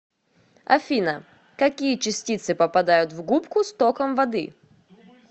афина какие частицы попадают в губку с током воды